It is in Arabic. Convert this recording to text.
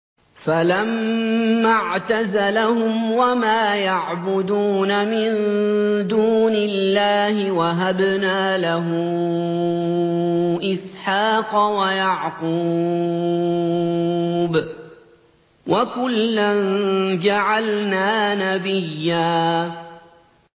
فَلَمَّا اعْتَزَلَهُمْ وَمَا يَعْبُدُونَ مِن دُونِ اللَّهِ وَهَبْنَا لَهُ إِسْحَاقَ وَيَعْقُوبَ ۖ وَكُلًّا جَعَلْنَا نَبِيًّا